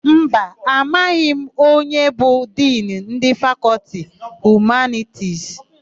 Mba, amaghị m onye bụ Dinu ndị Fakọltị Humanitisi.